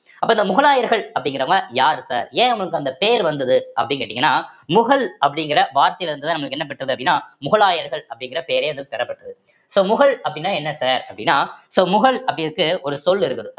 அப்ப இந்த முகலாயர்கள் அப்படிங்கறவுங்க யாரு sir ஏன் அவங்களுக்கு அந்த பேர் வந்தது அப்படின்னு கேட்டீங்கன்னா முகல் அப்படிங்கற வார்த்தையில இருந்துதான் நமக்கு என்ன பெற்றது அப்படின்னா முகலாயர்கள் அப்படிங்கற பேரே வந்து பெறப்பட்டது so முகல் அப்படின்னா என்ன sir அப்படின்னா so முகல் அப்படி இருக்கு ஒரு சொல் இருக்குது